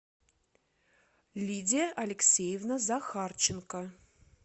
лидия алексеевна захарченко